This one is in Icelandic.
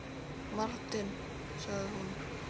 Martin sagði hún.